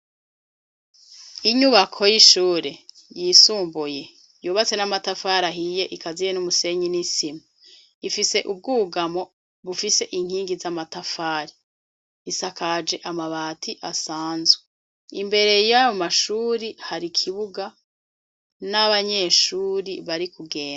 Inyubako y'ishuri yisumbuye yubatse n'amafari ahiye ikaziye n'umusenyi n'isima, ifise ubwugamo bufise inkingi za matafari isakaje amabati asanzwe imbere yayo mashuri hari ikibuga n'abanyeshuri barikudenda.